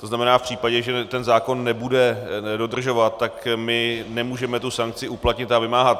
To znamená, v případě, že ten zákon nebude dodržovat, tak my nemůžeme tu sankci uplatnit a vymáhat.